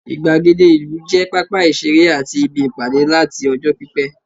igbagede ìlú je papa isere ati ibi Ipade lat ọjọ pipẹ